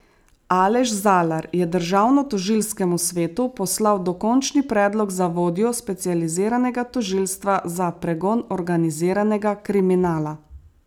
Aleš Zalar je Državnotožilskemu svetu poslal dokončni predlog za vodjo specializiranega tožilstva za pregon organiziranega kriminala.